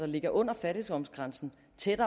leve under fattigdomsgrænsen